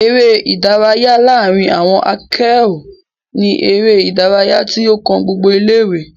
eré ìdárayá láàrin àwon akéọ̀ọ́ ní eré ìdárayá tí ó kan gbogbo ilé ìwé